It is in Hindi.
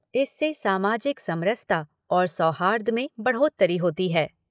इससे सामाजिक समरसता और सौहार्द में बढ़ोत्तरी होती है।